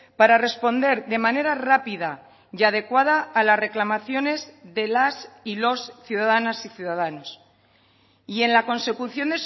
para responder de manera rápida y adecuada a las reclamaciones de las y los ciudadanas y ciudadanos y en la consecución